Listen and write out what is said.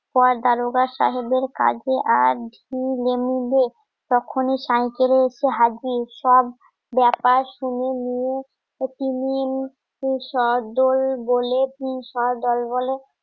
পর দারোগা সাহেবের কাজে আজ তখনই সাইয়কেল এ এসে হাজির সব ব্যাপার শুনে নিয়ে বলে